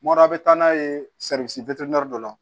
Mɔrɔ a bɛ taa n'a ye dɔ la